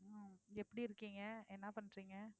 உம் எப்படி இருக்கீங்க என்ன பண்றீங்க